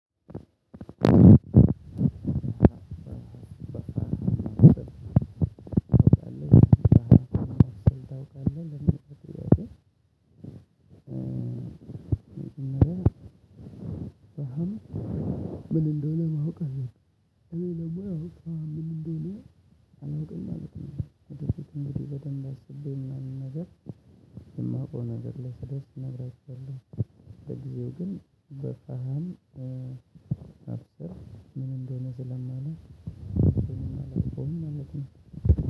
አንድ ሁለት ሶስት አራት አምስት ስድስት ሰባት ታውቃለህ ለምን ትልቅ እያለ ነው። ምን እንደሆነ ማወቅ አለብኝ። እኔ ለሙያው ምን? አለው። እንግዲህ በደንብ አስቤ ምናምን ነገር የማውቀው ነገር ላይ ስደርስ እነግራችኋለሁ። ለጊዜው ግን በፈሃን አብሰር ምን እንደሆነ ስለማለት እንደሆነ አላውቀውም ማለት ነው